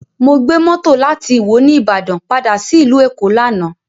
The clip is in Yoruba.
Mo gbé mọ́tò láti ìwó ní Ìbàdàn padà sí ìlú Èkó lánàá